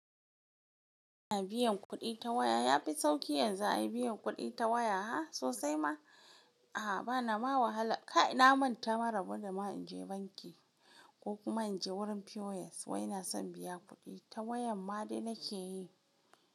Ana biyan kuɗi ta waya. Ya fi sauƙi yanzu a yi biyan kuɗi ta waya ha sosai ma. A'a bana mawahala kai na manta maraba da ma in je banki ko kuma in je wurin POS wai na son biya kuɗi ta waya ma dai na ke yi.